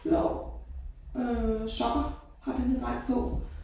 Blå øh sokker har denne dreng på